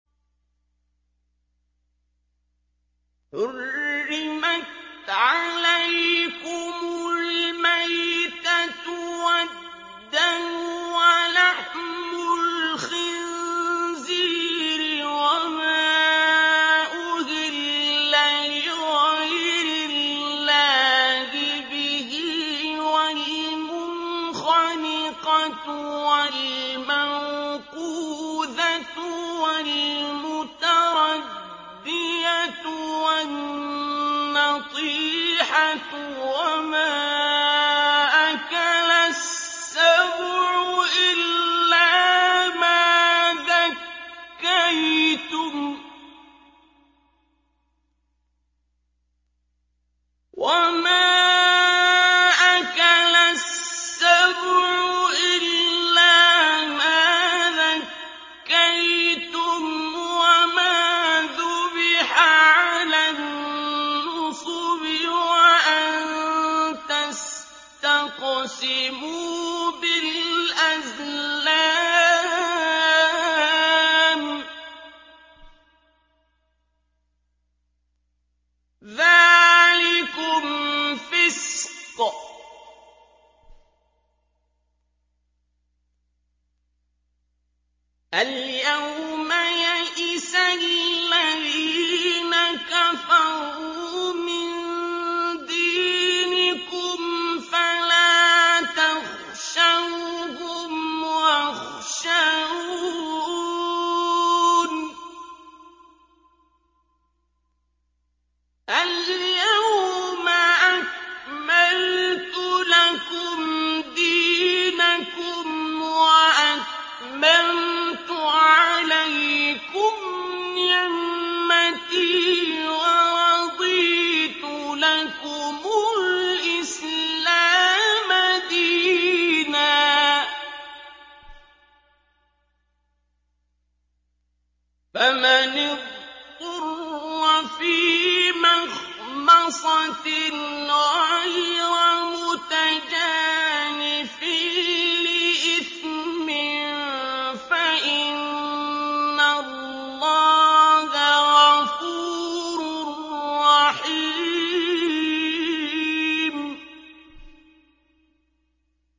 حُرِّمَتْ عَلَيْكُمُ الْمَيْتَةُ وَالدَّمُ وَلَحْمُ الْخِنزِيرِ وَمَا أُهِلَّ لِغَيْرِ اللَّهِ بِهِ وَالْمُنْخَنِقَةُ وَالْمَوْقُوذَةُ وَالْمُتَرَدِّيَةُ وَالنَّطِيحَةُ وَمَا أَكَلَ السَّبُعُ إِلَّا مَا ذَكَّيْتُمْ وَمَا ذُبِحَ عَلَى النُّصُبِ وَأَن تَسْتَقْسِمُوا بِالْأَزْلَامِ ۚ ذَٰلِكُمْ فِسْقٌ ۗ الْيَوْمَ يَئِسَ الَّذِينَ كَفَرُوا مِن دِينِكُمْ فَلَا تَخْشَوْهُمْ وَاخْشَوْنِ ۚ الْيَوْمَ أَكْمَلْتُ لَكُمْ دِينَكُمْ وَأَتْمَمْتُ عَلَيْكُمْ نِعْمَتِي وَرَضِيتُ لَكُمُ الْإِسْلَامَ دِينًا ۚ فَمَنِ اضْطُرَّ فِي مَخْمَصَةٍ غَيْرَ مُتَجَانِفٍ لِّإِثْمٍ ۙ فَإِنَّ اللَّهَ غَفُورٌ رَّحِيمٌ